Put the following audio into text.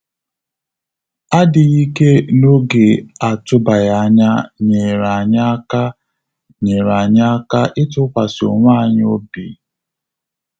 Adịghị ike n'oge atụbaghị anya nyeere anyị aka nyeere anyị aka ịtụkwasị onwe anyị obi